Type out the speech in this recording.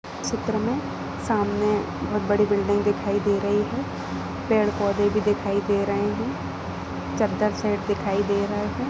इस चित्र मे सामने एक बहुत बड़ी बिल्डिंग दिखाई दे रही है पेड़ पौधे भी दिखाई दे रहे है चद्दर सेट दिखाई दे रहे है।